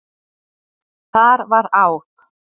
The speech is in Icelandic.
Þar var áð.